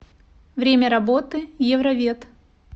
время работы евровет